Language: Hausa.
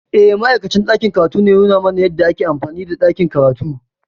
Eh, Ma’aikacin ɗakin karatu ne ya nuna mana yadda ake amfani da ɗakin karatu.